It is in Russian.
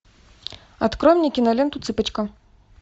открой мне киноленту цыпочка